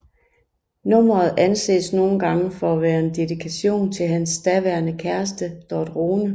Nummeret anses nogle gange for at være en dedikation til hans daværende kæreste Dot Rhone